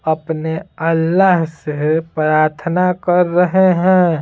अपने अल्लाह से प्रार्थना कर रहे हैं।